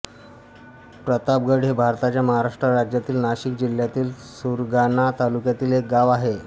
प्रतापगड हे भारताच्या महाराष्ट्र राज्यातील नाशिक जिल्ह्यातील सुरगाणा तालुक्यातील एक गाव आहे